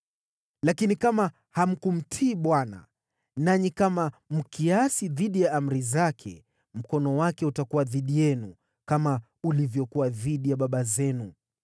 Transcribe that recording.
Lakini kama hamkumtii Bwana , nanyi kama mkiasi dhidi ya amri zake, mkono wake utakuwa dhidi yenu, kama ulivyokuwa dhidi ya baba zenu.